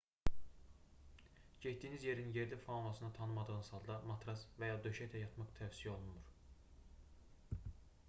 getdiyiniz yerin yerli faunasını tanımadığınız halda matras və ya döşəkdə yatmaq tövsiyə olunmur